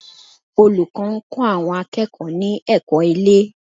Olùkọ́ ń kọ́ àwọn akẹ́kọ̀ọ́ ní ẹ̀kọ́ ilé